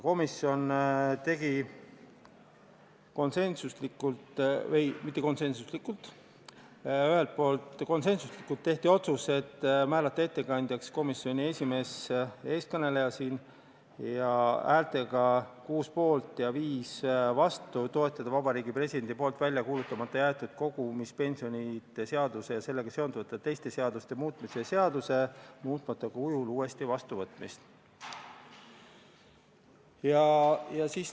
Komisjon tegi konsensusega otsuse määrata ettekandjaks komisjoni esimees, teie ees kõneleja, häältega 6 poolt ja 5 vastu otsustati toetada Vabariigi Presidendi poolt välja kuulutamata jäetud kogumispensionide seaduse ja sellega seonduvalt teiste seaduste muutmise seaduse muutmata kujul uuesti vastuvõtmist.